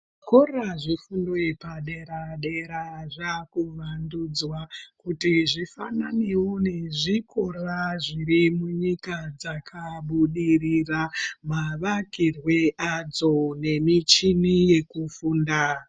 Zvikora zvefundo yepadera dera zvakuvandudzwa kuti zvifananewo nezvikora zviri munyika dzakabudirira mavakirwe adzo nemichini yekufunda.